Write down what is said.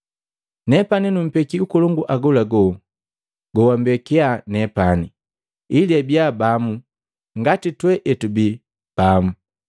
Nepani numpeki ukolongu agolago gogwambekiya nepani, ili abiya bamu ngati twee etubii pamu.